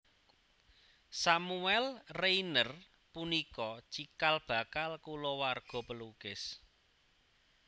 Samuel Rayner punika cikal bakal kulawarga pelukis